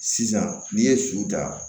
Sisan n'i ye su ta